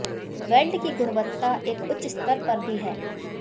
weld की गुणवत्ता एक उच्च स्तर पर भी है